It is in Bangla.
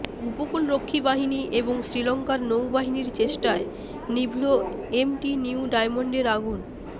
উপকূল রক্ষীবাহিনী এবং শ্রীলঙ্কার নৌ বাহিনীর চেষ্টায় নিভল এমটি নিউ ডায়মন্ডের আগুন